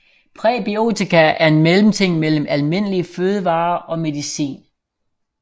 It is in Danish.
Præbiotika er en mellemting mellem almindelige fødevarer og medicin